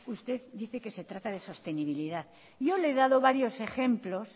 usted dice que se trata de sostenibilidad yo le he dado varios ejemplos